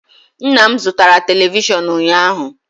Nna m zụtara televishọn ụnyaahụ.